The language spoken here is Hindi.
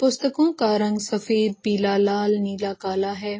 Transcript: पुस्तको का रंग सफेद पीला लाल नीला काला है।